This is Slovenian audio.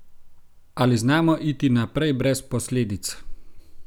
Ali znamo iti naprej brez posledic?